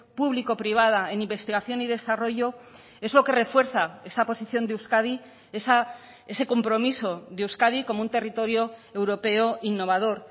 público privada en investigación y desarrollo es lo que refuerza esa posición de euskadi ese compromiso de euskadi como un territorio europeo innovador